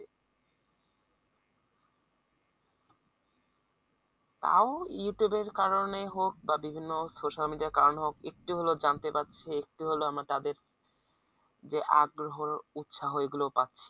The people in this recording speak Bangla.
তাও Youtube এর কারনেই হোক বা বিভিন্ন social media র কারণে হোক একটু হলেও জানতে পারছে একটু হলেও আমরা তাদের যে আগ্রহ ও উৎসাহ এগুলো পাচ্ছি।